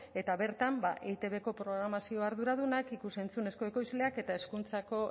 eta bertan ba eitbko programazio arduradunak ikus entzunezko ekoizleak eta hezkuntzako